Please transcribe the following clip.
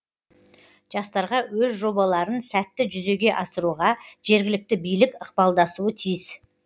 жастарға өз жобаларын сәтті жүзеге асыруға жергілікті билік ықпалдасуы тиіс